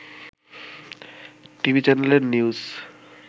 TV চ্যানেলের news